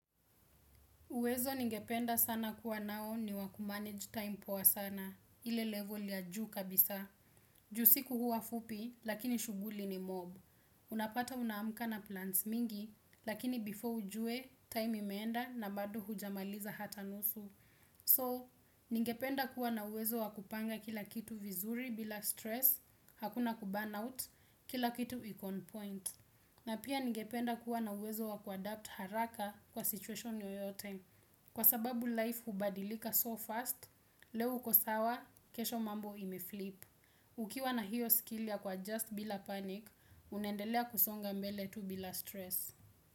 Uwezo ningependa sana kuwa nao ni wakumanage time poa sana, ile level ya juu kabisa. Juu siku huwa fupi, lakini shuguli ni more. Unapata unaamka na plans mingi, lakini before ujue, time imeenda na bado hujamaliza hata nusu. So, ningependa kuwa na uwezo wakupanga kila kitu vizuri bila stress, hakuna kuburn out, kila kitu viko on point. Na pia ningependa kuwa na uwezo wakuadapt haraka kwa situation yoyote. Kwa sababu life hubadilika so fast, leo uko sawa, kesho mambo ime flip. Ukiwa na hiyo skill ya kwa just bila panic, unendelea kusonga mbele tu bila stress.